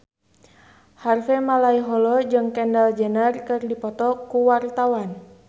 Harvey Malaiholo jeung Kendall Jenner keur dipoto ku wartawan